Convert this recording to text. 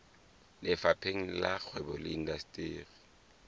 lefapheng la kgwebo le indasteri